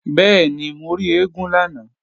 Bẹ́ẹ̀ni, mo rí eégún lánàá